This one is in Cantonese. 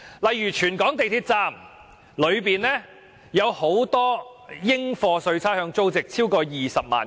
例如全港港鐵站內的櫃員機，其應課稅差餉租值合共20多萬元。